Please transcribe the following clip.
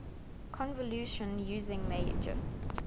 convolution using meijer